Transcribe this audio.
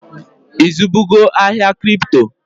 I zụbugo ahịa Kripto?